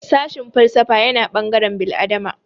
Sashin falsafa yana ɓangaren bil'adama